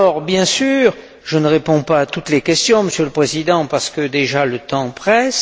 Bien sûr, je ne réponds pas à toutes les questions, Monsieur le Président, parce que le temps presse.